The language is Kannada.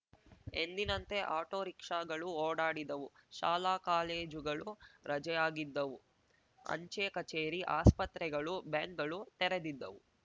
ಎಂದಿನಂತೆ ಆಟೋ ರಿಕ್ಷಾಗಳು ಓಡಾಡಿದವು ಶಾಲಾ ಕಾಲೇಜುಗಳು ರಜೆಯಾಗಿದ್ದವು ಅಂಚೆ ಕಚೇರಿ ಆಸ್ಪತ್ರೆಗಳು ಬ್ಯಾಂಕ್‌ಗಳು ತೆರೆದಿದ್ದವು